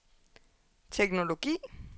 teknologi